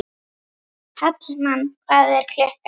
Hallmann, hvað er klukkan?